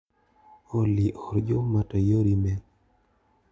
Olly or Juma to ior imel.